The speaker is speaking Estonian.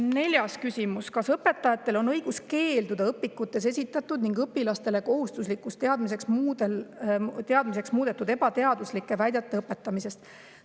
Neljas küsimus: "Kas õpetajatel on õigus keelduda õpikutes esitatud ning õpilastele kohustuslikuks teadmiseks muudetud ebateaduslike väidete õpetamisest?